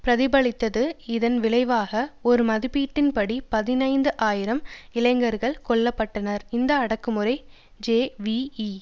பிரதிபலித்தது இதன் விளைவாக ஒரு மதிப்பீட்டின்படி பதினைந்து ஆயிரம் இளைஞர்கள் கொல்ல பட்டனர் இந்த அடக்குமுறை ஜேவிபி